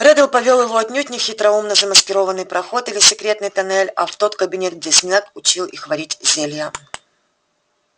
реддл повёл его отнюдь не в хитроумно замаскированный проход или секретный тоннель а в тот кабинет где снегг учил их варить зелья